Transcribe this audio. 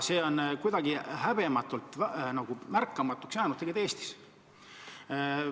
See on tegelikult kuidagi häbematult märkamatuks jäänud siin Eestis.